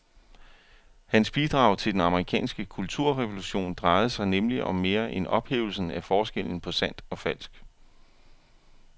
Hans bidrag til den amerikanske kulturrevolution drejede sig nemlig om mere end ophævelsen af forskellen på sandt og falsk.